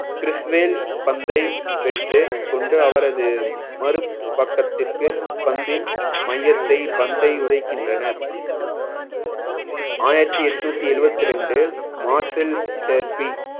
கிறிஸ்வேல் பந்தை பெற்று கொண்டு அவரது மறுபக்கத்திற்கு பந்தின் மையத்தை பந்தை உதைக்கின்றனர் ஆயிரத்தி எட்நூத்தி எழுவத்தி ரெண்டு marshal terpy